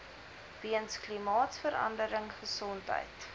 weens klimaatsverandering gesondheid